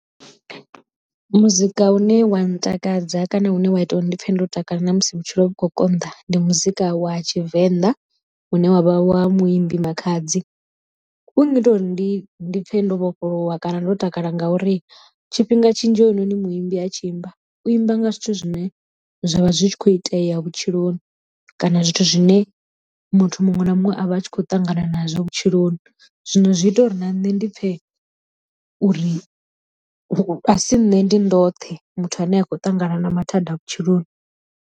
Muzika u ne wa ntakadza kana une wa ita uri ndi pfhe ndo takala na musi vhutshilo vhu kho konḓa ndi muzika wa tshivenḓa une wavha wa muimbi Makhadzi. U ngita uri ndi ndi pfhe ndo vhofholowa kana ndo takala ngauri tshifhinga tshinzhi hounoni muimbi a tshi imba u imba nga zwithu zwine zwavha zwi kho itea vhutshiloni kana zwithu zwine muthu muṅwe na muṅwe a vha a tshi khou ṱangana nazwo vhutshiloni zwino zwi ita uri na nṋe ndi pfhe uri a si nne ndi ndoṱhe muthu ane a khou ṱangana na mathada a vhutshiloni.